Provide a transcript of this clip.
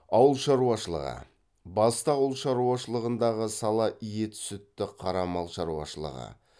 ауыл шаруашылығы басты ауылшаруашылығындағы сала ет сүтті қара мал шаруашылығы